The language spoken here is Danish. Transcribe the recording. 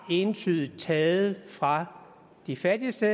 entydigt har taget fra de fattigste